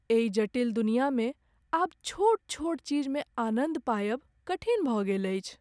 एहि जटिल दुनियामे आब छोट छोट चीजमे आनन्द पायब कठिन भऽ गेल अछि।